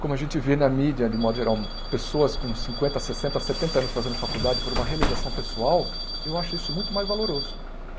Como a gente vê na mídia, de modo geral, pessoas com cinquenta, sessenta, setenta anos fazendo faculdade por uma realização pessoal, eu acho isso muito mais valoroso.